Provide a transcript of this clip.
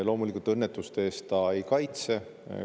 Loomulikult, õnnetuste eest need ei kaitse.